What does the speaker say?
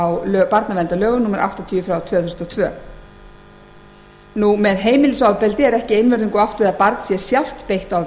á barnaverndarlögum númer áttatíu tvö þúsund og tvö með heimilisofbeldi er ekki einvörðungu átt við að barn sé sjálft beitt